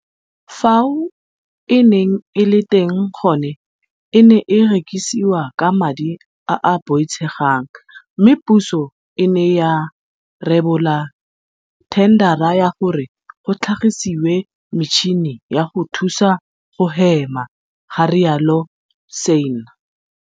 Fao e neng e le teng gone e ne e rekisiwa ka madi a a boitshegang mme puso e ne ya rebola thendara ya gore go tlhagisiwe metšhini ya go thusa go hema, ga rialo Sanne.